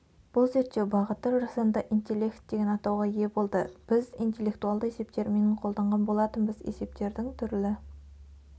бұл зерттеу бағыты жасанды интеллектдеген атауға ие болды біз интеллектуалды есеп терминін қолданған болатынбыз есептердің түрлі